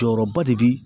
Jɔyɔrɔba de bi